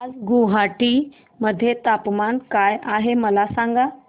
आज गुवाहाटी मध्ये तापमान काय आहे मला सांगा